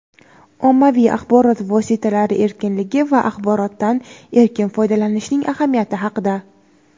ommaviy axborot vositalari erkinligi va axborotdan erkin foydalanishning ahamiyati haqida.